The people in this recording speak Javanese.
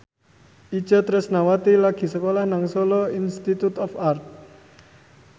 Itje Tresnawati lagi sekolah nang Solo Institute of Art